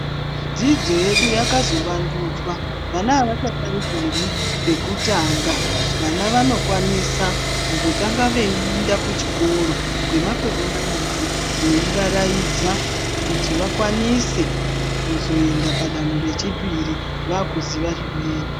Dzidzo yedu yakazowandudzwa vana hawachatangiri pekutanga vano vanokwanisa kumbotanga weinda kuchikoro kwemakore mairi weivaraidza kuti wakwanise kuzoenda padanho rechipiri vakuziwa zvimweni.